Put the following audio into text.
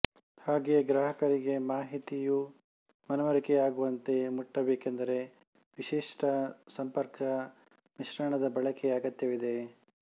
ಹಾಗೆಯೇ ಗ್ರಾಹಕರಿಗೆ ಮಾಹಿತಿಯು ಮನವರಿಕೆಯಾಗುವಂತೆ ಮುಟ್ಟಬೇಕೆಂದರೆ ವಿಶಿಷ್ಟ ಸಂಪರ್ಕ ಮಿಶ್ರಣದ ಬಳಕೆಯ ಅಗತ್ಯವಿದೆ